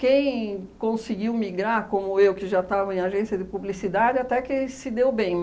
Quem conseguiu migrar, como eu, que já estava em agência de publicidade, até que se deu bem.